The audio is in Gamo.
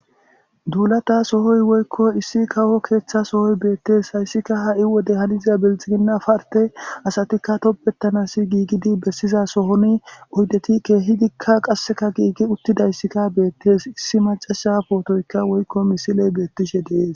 duulata sohoy woykko issi kawo keeththa sohoy beettees, hayssikka ha'i wode haniza bilxiginna parte asatikka toppettanas giigidi bessiza sohoni oydetikka keehidika qasseka giigi uttidayssikka beettes issi macasha pootoyka woykko misiley beettishe de'ese